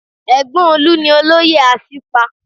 Ẹ̀gbọ́n Olu ni olóyè Asipa